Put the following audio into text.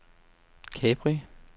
Capri